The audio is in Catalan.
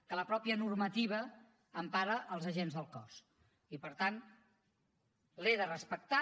que la mateixa normativa empara els agents del cos i per tant l’he de respectar